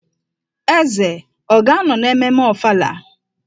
Eze ọ ga-anọ na mmemme Ọfala?